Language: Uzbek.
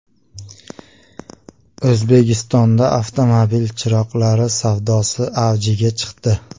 O‘zbekistonda avtomobil chiroqlari savdosi avjiga chiqdi.